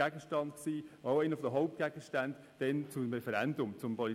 es war damals einer der Hauptgründe für ein Referendum zum PolG.